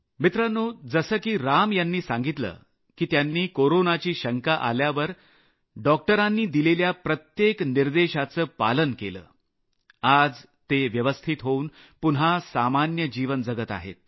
मित्रांनो जसं की राम यांनी सांगितलं की त्यांनी कोरोनाची शंका आल्यावर डॉक्टरांनी दिलेल्या प्रत्येक निर्देशाचं पालन केलं आणि त्यामुळेच आज ते व्यवस्थित होऊन पुन्हा निरोगी जीवन जगत आहेत